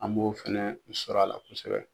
An b'o fɛnɛ sɔrɔ a la kosɛbɛ